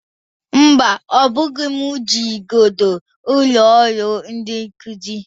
Mba, ọ bụghị m ji igodo ụlọ ọrụ ndị nkụzi